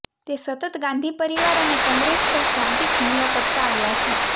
તે સતત ગાંધી પરિવાર અને કોંગ્રેસ પર શાંબ્દિક હુમલો કરતા આવ્યા છે